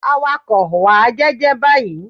Awakọ̀! Wà á jẹ́ jẹ́ báyìí.